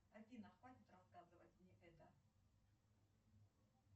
салют какая температура ожидается завтра во второй половине дня